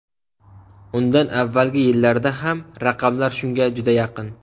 Undan avvalgi yillarda ham raqamlar shunga juda yaqin.